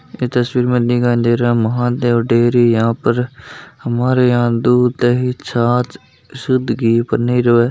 यह तस्वीर में दिखाई दे रहा है महादेव डेयरी यहां पर हमारे यहां दूध दही छांछ सुद्ध घी पनीर व --